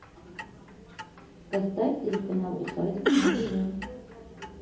поставь телеканал усадьба на тв